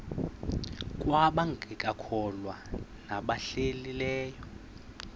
kwabangekakholwa nabahlehli leyo